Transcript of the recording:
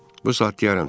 Bu saat deyərəm ser.